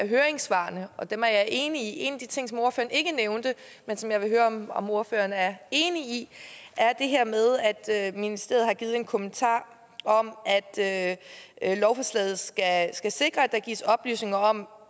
høringssvarene og dem er jeg enig i en af de ting som ordføreren ikke nævnte men som jeg vil høre om om ordføreren er enig i er det her med at ministeriet har givet en kommentar om at lovforslaget skal skal sikre at der gives oplysninger om